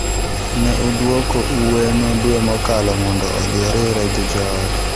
Ne odwogo Ueno dwe mokalo mondo odhi oriwre gi joode.